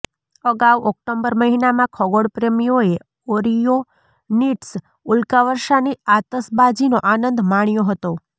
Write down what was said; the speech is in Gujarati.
અગાઉ ઓક્ટોબર મહિનામાં ખગોળપ્રેમીઓએ ઓરીયોનીડ્સ ઉલ્કાવર્ષાની આતશબાજીનો આનંદ માણ્યો હતો